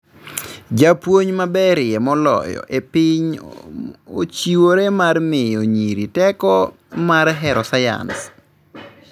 Japuonj maberie moloyo e pinyni ochiwore mar miyo nyiri teko mar hero sayans